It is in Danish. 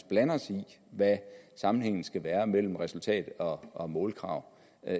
blande os i hvad sammenhængen skal være mellem resultat og målkrav